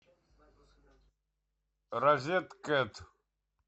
розеткед